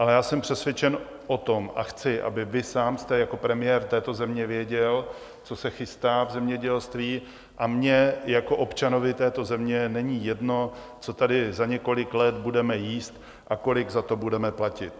Ale já jsem přesvědčen o tom, a chci, aby vy sám jste jako premiér této země věděl, co se chystá v zemědělství, a mně jako občanovi této země není jedno, co tady za několik let budeme jíst a kolik za to budeme platit.